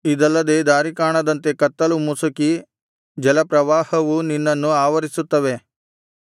ಇದಲ್ಲದೆ ದಾರಿಕಾಣದಂತೆ ಕತ್ತಲೂ ಮುಸುಕಿ ಜಲಪ್ರವಾಹವೂ ನಿನ್ನನ್ನು ಆವರಿಸುತ್ತವೆ